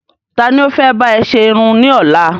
Ta ni o fẹ́ bá e sẹ Irun ní ọ́la?